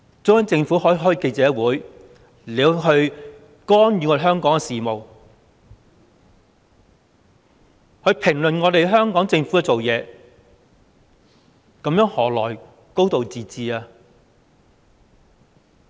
中央政府可以召開記者會，干預香港的事務，評論香港政府的工作，這樣何來"高度自治"？